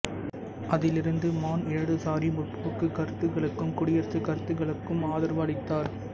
அதிலிருந்து மாண் இடதுசாரி முற்போக்குக் கருத்துகளுக்கும் குடியரசு கருத்துகளுக்கும் ஆதரவு அளித்தார்